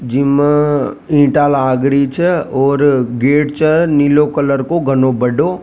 जिमा ईंटा भी लागरी छ और गेट छ नील कलर को घनो बड़ों।